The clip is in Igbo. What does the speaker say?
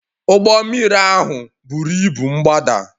Ụgbọ mmiri ahụ buru ibu m gbadaa